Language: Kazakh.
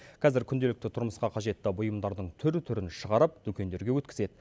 қазір күнделікті тұрмысқа қажетті бұйымдардың түр түрін шығарып дүкендерге өткізеді